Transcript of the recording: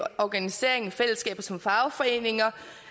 organiseringen af fællesskabet som fagforening